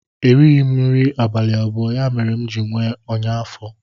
erighị m nri abalị abụọ, ya mere m ji nwee ọnya afọ